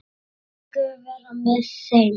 Megi Guð vera með þeim.